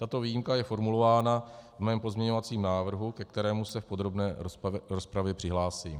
Tato výjimka je formulována v mém pozměňovacím návrhu, ke kterému se v podrobné rozpravě přihlásím.